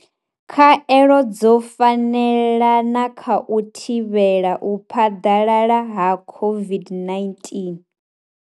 Khaelo dzo fanela na kha u thivhela u phaḓalala ha u thivhela u phaḓalala ha COVID-19.